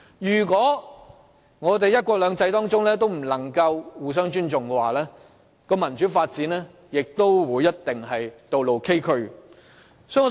如果我們仍不能在"一國兩制"下互相尊重，民主發展的道路亦一定會崎嶇不平。